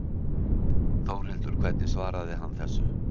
Þórhildur hvernig svaraði hann þessu?